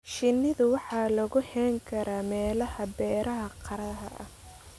Shinida waxaa lagu hayn karaa meelaha beeraha qaraha ah.